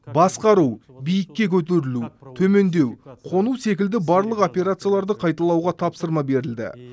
басқару биікке көтерілу төмендеу қону секілді барлық операцияларды қайталауға тапсырма берілді